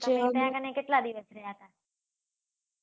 તમે ત્યાં કને કેટલા દિવસ રહ્યા હતા.